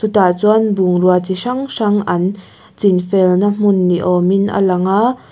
chutah chuan bungrua chi hrang hrang an chin felna hmun ni awmin a lang aaa.